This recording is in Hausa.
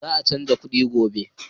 Za a canza kuɗin gobe.